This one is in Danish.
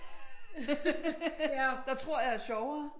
Der tror jeg er sjovere